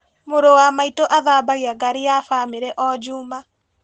Mũrũ wa maitũ athambagia ngari ya bamĩrĩ o njuma.